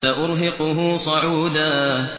سَأُرْهِقُهُ صَعُودًا